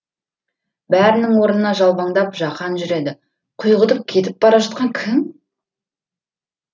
бәрінің орнына жалбаңдап жақан жүреді құйғытып кетіп бара жатқан кім